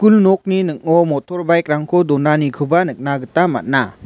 nokni ning·o motor bike-rangko donanikoba nikna gita man·a.